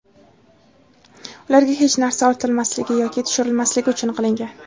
ularga hech narsa ortilmasligi yoki tushirilmasligi uchun qilingan.